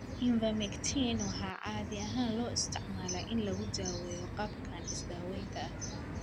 Ivermectin waxaa caadi ahaan loo isticmaalaa in lagu daweeyo qaabkan isdaawaynta ah.